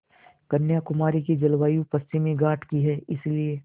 कन्याकुमारी की जलवायु पश्चिमी घाट की है इसलिए